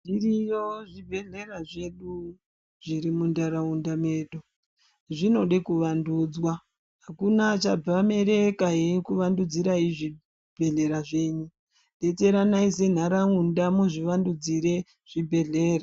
Zviriyo zvibhedhlera zvedu zvirimundaraunda medu zvinode kuvandudzwa. Hakuna achabva mereka eikuvandudzirai zvibhedhlera zvenyu. Betseranai senharaunda muzvivandudzire zvibhedhlera.